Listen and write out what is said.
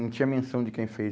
Não tinha menção de quem fez.